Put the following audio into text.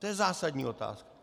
To je zásadní otázka.